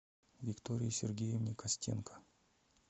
виктории сергеевне костенко